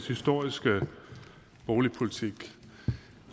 historiske boligpolitik og